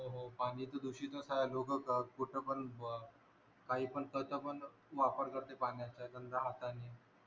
हो पानी त दुषीतच आहे लोक पण काही पण